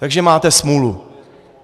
Takže máte smůlu.